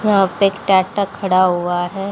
यहां पे एक खड़ा हुआ है।